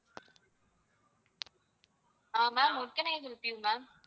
ah ma'am what can I help you ma'am